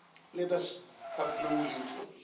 Let us have no illusions.